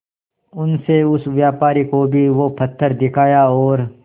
उनसे उस व्यापारी को भी वो पत्थर दिखाया और